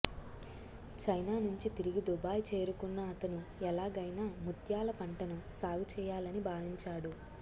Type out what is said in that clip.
China నుంచి తిరిగి Dubai చేరుకున్న అతను ఎలాగైనా ముత్యాల పంటను సాగు చేయాలని భావించాడు